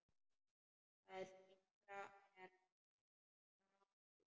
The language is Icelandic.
Það yngra er frá Gambíu.